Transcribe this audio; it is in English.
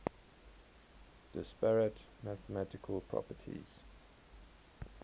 disparate mathematical properties